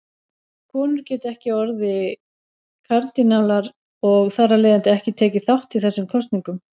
Konur geta ekki orðið kardínálar og þar af leiðandi ekki tekið þátt í þessum kosningum.